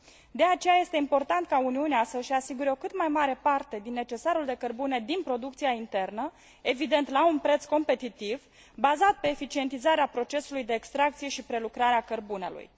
De aceea, este important ca Uniunea să și asigure o cât mai mare parte din necesarul de cărbune din producția internă, evident la un preț competitiv, bazat pe eficientizarea procesului de extracție și prelucrare a cărbunelui.